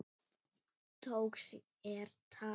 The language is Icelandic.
Tók sér tak.